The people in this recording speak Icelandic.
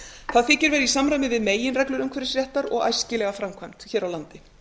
það þykir vera í samræmi við meginreglur umhverfisréttar og æskilega framkvæmd hér á landi